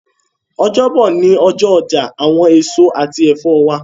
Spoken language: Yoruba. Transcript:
Ọjọbo ni ọjọ ọja awọn eso ati ẹfọ wa